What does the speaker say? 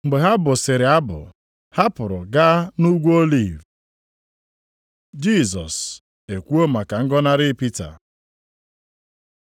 Mgbe ha bụsịrị abụ, ha pụrụ gaa nʼUgwu Oliv. Jisọs ekwuo maka ngọnarị Pita